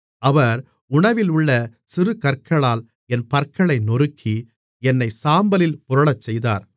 அவர் உணவிலுள்ள சிறுகற்களால் என் பற்களை நொறுக்கி என்னைச் சாம்பலில் புரளச்செய்தார்